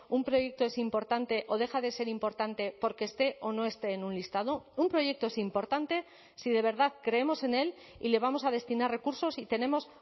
un proyecto es importante o deja de ser importante porque esté o no esté en un listado un proyecto es importante si de verdad creemos en él y le vamos a destinar recursos y tenemos